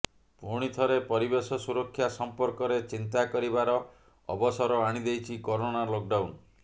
ପୁଣି ଥରେ ପରିବେଶ ସୁରକ୍ଷା ସମ୍ପର୍କରେ ଚିନ୍ତା କରିବାର ଅବସର ଆଣିଦେଇଛି କରୋନା ଲକଡାଉନ୍